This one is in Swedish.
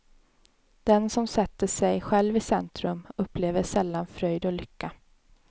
Den som sätter sig själv i centrum upplever sällan fröjd och lycka.